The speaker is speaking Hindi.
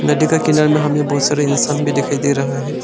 नदी का किनारे में हमें बहुत सारा इंसान भी दिखाई दे रहा है।